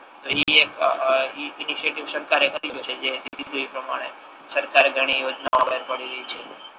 તો ઇ એક કાર્ય કરી રહ્યુ છે જે વીજળી પ્રમાણે સરકારે ઘણી યોજનાઓ બહાર પડેલી છે